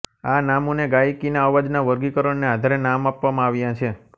આ નામોને ગાયકીના અવાજનાં વર્ગીકરણને આધારે નામ આપવામાં આવ્યાં છે